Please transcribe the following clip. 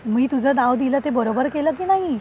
मी तुझं नाव दिले ते बरोबर केलं की नाही?